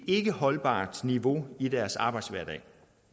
ikkeholdbart niveau i deres arbejdshverdag